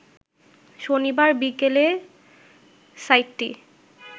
শনিবার বিকেলে সাইটটি